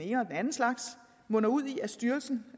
anden slags munder ud i at styrelsen